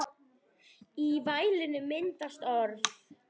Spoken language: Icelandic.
Í vælinu myndast orð.